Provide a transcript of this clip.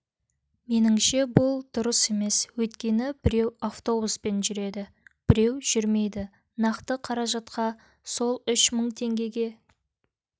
меніңше бұл дұрыс емес өйткені біреу автобуспен жүреді біреу жүрмейді нақты қаражатқа сол үш мың теңгеге